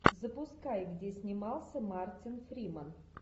запускай где снимался мартин фриман